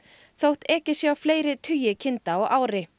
þótt ekið sé á fleiri tugi kinda á ári